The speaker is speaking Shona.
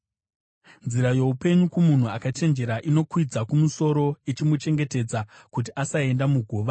Nzira youpenyu kumunhu akachenjera inokwidza kumusoro, ichimuchengetedza kuti asaenda muguva.